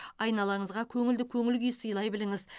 айналаңызға көңілді көңіл күй сыйлай біліңіз